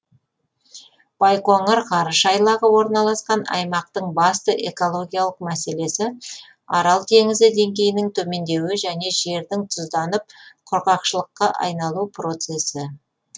байқоңыр ғарыш айлағы орналасқан аймақтың басты экологиялық мәселесі арал теңізі деңгейінің төмендеуі және жердің тұзданып құрғақшылыққа айналу процесі